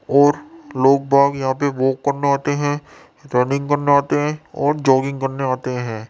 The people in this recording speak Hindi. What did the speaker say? और लोग-बाग यहां पे वॉक करने आते है रनिंग करने आते हैं और जोगिंग करने आते हैं।